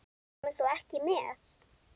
Kemur þú ekki með?